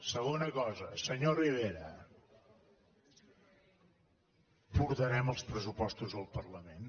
segona cosa senyor rivera portarem els pressupostos al parlament